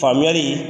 Faamuyali